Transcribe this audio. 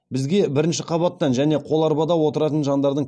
бізге бірінші қабаттан және қоларбада отыратын жандардың